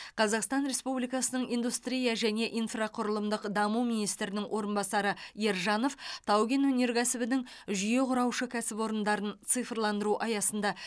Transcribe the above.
қазақстан республикасының индустрия және инфрақұрылымдық даму министрінің орынбасары ержанов тау кен өнеркәсібінің жүйе құраушы кәсіпорындарын цифрландыру аясында